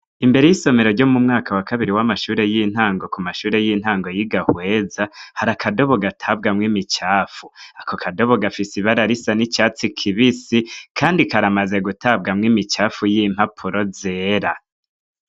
Imbere y'isomero ryo mu mwaka wa kabiri w'amashure y'intango , ku mashure y'intango y'i Gahweza, hari akadobo gatabwamwo imicafu, ako kadobo gafise ibara risa n'icatsi kibisi, kandi karamaze gutabwamwo imicafu y'impapuro zera.